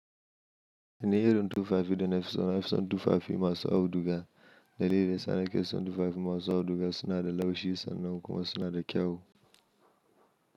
Indai irin y tu fafi dana fisona fison tu fafi masu auduga, da leles ana ke son tu fafi masu auduga suna da laushi sannu kuma suna da kyau.